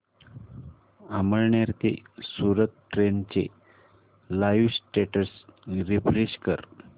अमळनेर ते सूरत ट्रेन चे live status refresh कर